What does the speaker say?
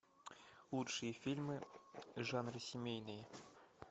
лучшие фильмы жанра семейные